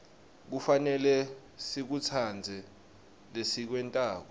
kufanele sikutsandze lesikwentako